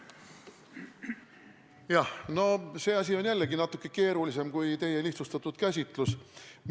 Jah, no see asi on jällegi natuke keerulisem kui teie lihtsustatud käsitlus.